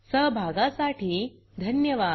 सहभागाबद्दल धन्यवाद